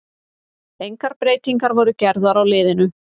Engar breytingar voru gerðar á liðunum.